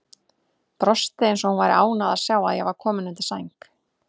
Brosti eins og hún væri ánægð að sjá að ég var kominn undir sæng.